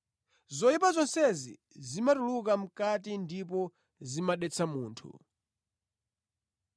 Zoyipa zonsezi zimatuluka mʼkati ndipo zimadetsa munthu.”